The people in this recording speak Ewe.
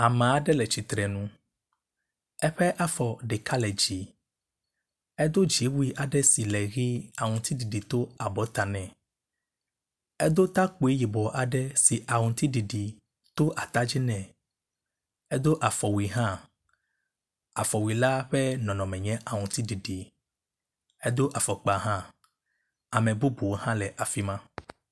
Ame aɖe le tsitre nu, eƒe afɔ ɖeka le dzi, edo dziwui aɖe si le he aŋutiɖiɖi le abɔta ne. Edo takpui yibɔ aɖe si aŋutiɖiɖi to ata dzi nɛ. Edo afɔwui hã. Afɔwui la ƒe nɔnɔme nye aŋutiɖiɖi, edo afɔkpa hã ame bubu aɖe hã le afi ma.